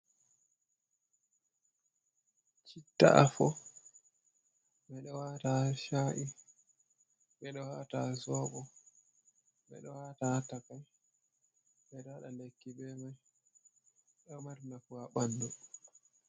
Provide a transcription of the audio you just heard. Chittafo bedo wata ha sha’i bedo wata ha sobo bedo wata ha takai, bedo wada lekki be mai do mari nafu ha bandu.